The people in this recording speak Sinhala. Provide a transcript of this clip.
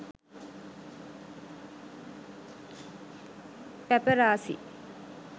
paparasi